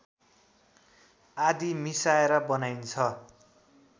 आदि मिसाएर बनाइन्छ